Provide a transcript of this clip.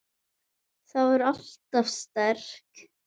Var alltaf sterk.